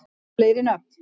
fleiri nöfn